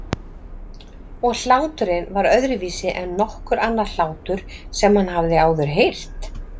Og hláturinn var öðruvísi en nokkur annar hlátur sem hann hafði áður heyrt.